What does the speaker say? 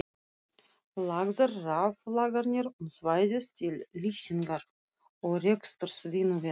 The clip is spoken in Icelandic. Lagðar raflagnir um svæðið til lýsingar og reksturs vinnuvéla.